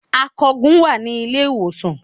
Akògùn wà ní Ilé-ìwòsàn